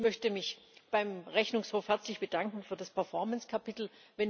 Ich möchte mich beim Rechnungshof herzlich bedanken für das Performance Kapitel.